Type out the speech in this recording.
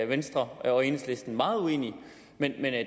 venstre og enhedslisten meget uenige men